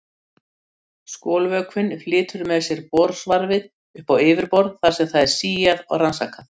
Skolvökvinn flytur með sér borsvarfið upp á yfirborð þar sem það er síað og rannsakað.